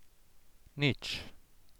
Nič.